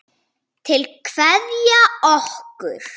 Til að kveðja okkur?